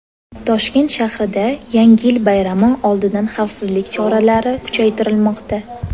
Toshkent shahrida Yangi yil bayrami oldidan xavfsizlik choralari kuchaytirilmoqda.